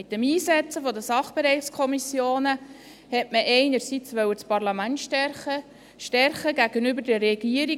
Mit dem Einsetzen der Sachbereichskommissionen wollte man einerseits das Parlament stärken – stärken gegenüber der Regierung.